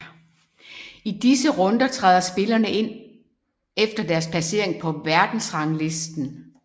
I disse runder træder spillerne ind efter deres placering på verdensranglisten